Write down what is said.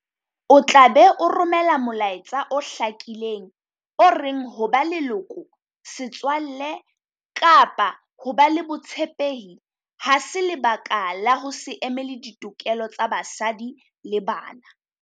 O tla be o romela molaetsa o hlakileng o reng ho ba leloko, setswalle kapa ho ba le botshepehi ha se lebaka la ho se emele ditokelo tsa basadi le bana.